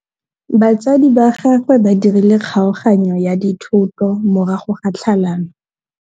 Batsadi ba gagwe ba dirile kgaoganyô ya dithoto morago ga tlhalanô.